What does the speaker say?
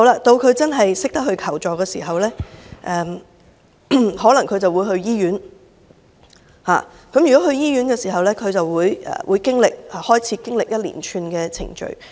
到她真的懂得求助時，她可能會到醫院，而如果她到醫院，她便要經歷一連串的程序。